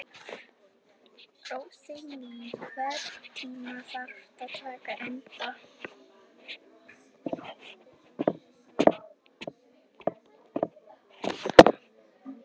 Rósný, einhvern tímann þarf allt að taka enda.